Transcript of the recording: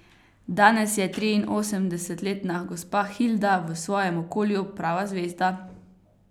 Danes je triinosemdesetletna gospa Hilda v svojem okolju prava zvezda.